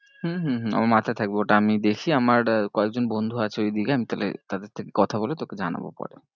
হম হম হম আমার মাথায় থাকবে ওটা আমি দেখি আমার কয়েকজন বন্ধু আছে ওই দিকে আমি তাহলে তাদের থেকে কথা বলে তোকে জানাবো পরে।